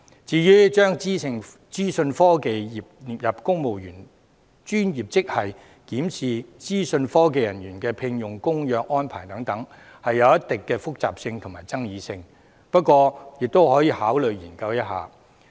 至於"將資訊科技專業列入公務員專業職系"及檢視聘用資訊科技人員的合約安排等，則具一定的複雜性和爭議性，不過亦可予以考慮和研究。